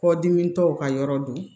Kɔdimi tɔw ka yɔrɔ don